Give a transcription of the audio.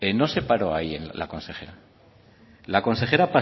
no se paró ahí la consejera la consejera